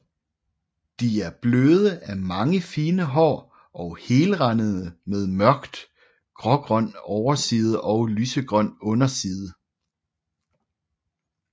De er bløde af mange fine hår og helrandede med mørkt grågrøn overside og lysegrøn underside